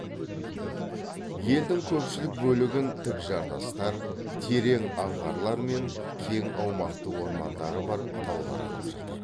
елдің көпшілік бөлігін тік жартастар терең аңғарлар мен кең аумақты ормандары бар таулар алып жатыр